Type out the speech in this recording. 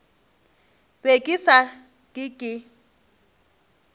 be ke sa ke ke